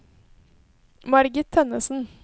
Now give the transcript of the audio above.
Margit Tønnesen